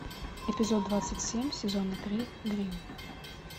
эпизод двадцать семь сезона три гримм